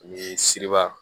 Ni siriba